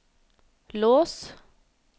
lås